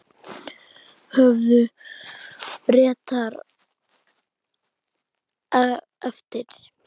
Höfðu Bretar eftir